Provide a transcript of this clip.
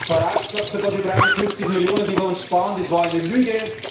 Farage sagt sogar Die 350 Millionen, die wir uns sparen das war eine Lüge.